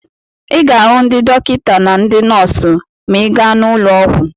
Ị ga-ahụ ndị dọkịta na ndị nọọsụ ma ị gaa n'ụlọ ọgwụ.